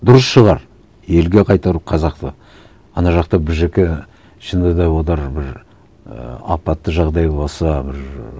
дұрыс шығар елге қайтару қазақты ана жақта шынында да олар бір ііі апатты жағдай болса бір